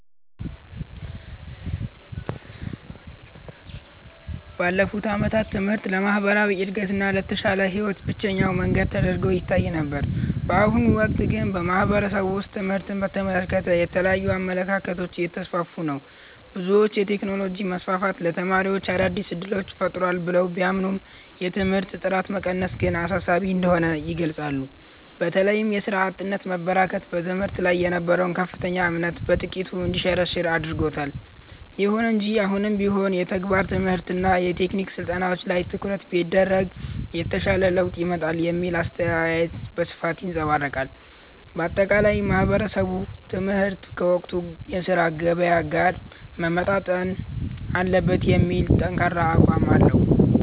ባለፉት ዓመታት ትምህርት ለማህበራዊ እድገትና ለተሻለ ህይወት ብቸኛው መንገድ ተደርጎ ይታይ ነበር። በአሁኑ ወቅት ግን በማህበረሰቡ ውስጥ ትምህርትን በተመለከተ የተለያዩ አመለካከቶች እየተስፋፉ ነው። ብዙዎች የቴክኖሎጂ መስፋፋት ለተማሪዎች አዳዲስ እድሎችን ፈጥሯል ብለው ቢያምኑም፣ የትምህርት ጥራት መቀነስ ግን አሳሳቢ እንደሆነ ይገልጻሉ። በተለይም የሥራ አጥነት መበራከት በትምህርት ላይ የነበረውን ከፍተኛ እምነት በጥቂቱ እንዲሸረሸር አድርጎታል። ይሁን እንጂ አሁንም ቢሆን የተግባር ትምህርትና የቴክኒክ ስልጠናዎች ላይ ትኩረት ቢደረግ የተሻለ ለውጥ ይመጣል የሚለው አስተያየት በስፋት ይንፀባረቃል። ባጠቃላይ ማህበረሰቡ ትምህርት ከወቅቱ የሥራ ገበያ ጋር መጣጣም አለበት የሚል ጠንካራ አቋም አለው።